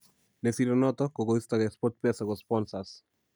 Ne siirei noto -kokoistogei Sportpesa ko sponsors